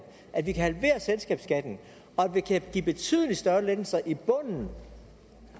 at vi kan halvere selskabsskatten og at vi kan give betydelig større lettelser i bunden